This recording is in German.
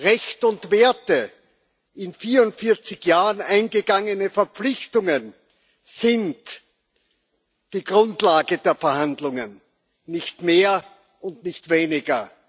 Rechte und Werte, in 44 Jahren eingegangene Verpflichtungen sind die Grundlage der Verhandlungen. Nicht mehr und nicht weniger.